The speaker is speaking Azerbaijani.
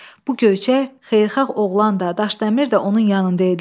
Bu göyçək, xeyirxah oğlan da, Daşdəmir də onun yanında idilər.